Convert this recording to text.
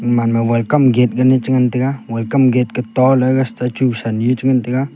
gaman ma welcome gate gan chi ngan tega welcome gate ka toh le statue sa a chi ngan tega.